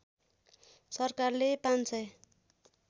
सरकारले ५ सय